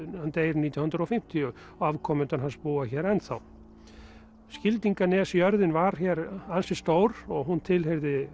hann deyr nítján hundruð og fimmtíu og afkomendur hans búa hér ennþá Skildinganes jörðin var hér ansi stór og hún tilheyrði